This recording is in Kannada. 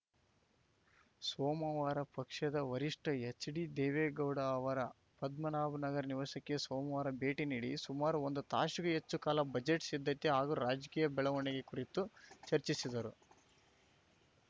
ಸೋಮವಾರ ಪಕ್ಷದ ವರಿಷ್ಠ ಎಚ್‌ಡಿದೇವೇಗೌಡ ಅವರ ಪದ್ಮನಾಭನಗರ ನಿವಾಸಕ್ಕೆ ಸೋಮವಾರ ಭೇಟಿ ನೀಡಿ ಸುಮಾರು ಒಂದು ತಾಸಿಗೂ ಹೆಚ್ಚು ಕಾಲ ಬಜೆಟ್‌ ಸಿದ್ಧತೆ ಹಾಗೂ ರಾಜಕೀಯ ಬೆಳವಣಿಗೆ ಕುರಿತು ಚರ್ಚಿಸಿದರು